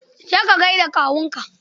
Je ka gai da kawunka.